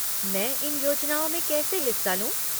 मैं इन योजनाओं में कैसे हिस्सा लूँ?